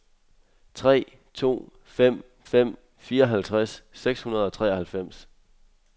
tre to fem fem fireoghalvfjerds seks hundrede og treoghalvfems